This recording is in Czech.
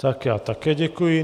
Tak já také děkuji.